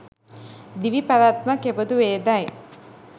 දිවිපැවැත්ම කෙබඳුවේදැයි